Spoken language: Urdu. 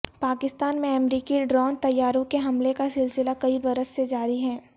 پاکستان میں امریکی ڈرون طیاروں کے حملوں کا سلسلہ کئی برس سے جاری ہے